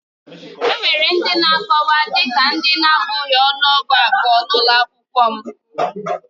Enwere ndị na-akọwa dị ka ndị na-abụghị ọnụọgụ abụọ na ụlọ akwụkwọ m